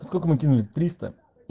сколько мы кинули триста